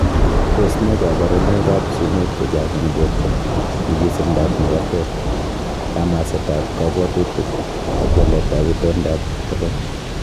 Tos nee koborunoikab sumek chechang' en borto, nyikisindab makatet, kamasetab kobwotutik, ak waletab itondap tokoch?